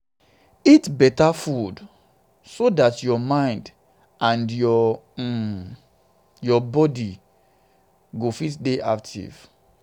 eat better food so dat your mind and um your body go fit dey active